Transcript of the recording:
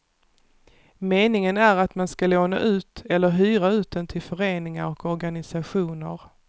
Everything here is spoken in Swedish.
Meningen är att man ska låna ut eller hyra ut den till föreningar och organisationer.